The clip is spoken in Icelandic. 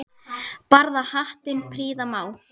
Barða hattinn prýða má.